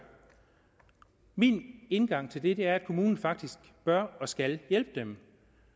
min indgang til det er at kommunen faktisk bør og skal hjælpe dem